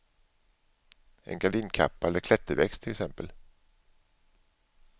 En gardinkappa eller klätterväxt till exempel.